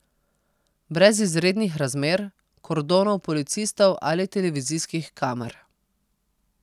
Brez izrednih razmer, kordonov policistov ali televizijskih kamer.